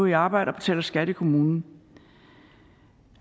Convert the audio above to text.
i arbejde og betaler skat til kommunen